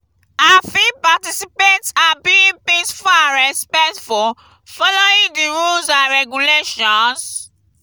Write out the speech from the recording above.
i fit participate and being peaceful and respectful following di rules and regulations.